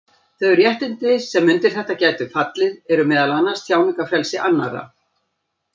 Þau réttindi sem undir þetta gætu fallið eru meðal annars tjáningarfrelsi annarra.